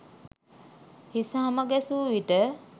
හිස හම ගැසු විට